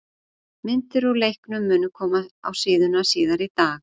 Myndir úr leiknum munu koma á síðuna síðar í dag.